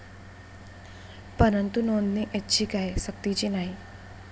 परंतु नोंदणी ऐच्छिक आहे, सक्तीची नाही.